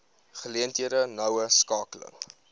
geleenthede noue skakeling